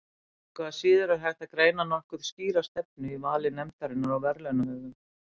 Engu að síður er hægt að greina nokkuð skýra stefnu í vali nefndarinnar á verðlaunahöfum.